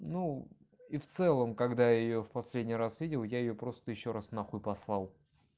ну и в целом когда я её в последний раз видел я её просто ещё раз на хуй послал